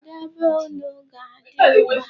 Kedụ ebe nnu ga-adị ugbu a?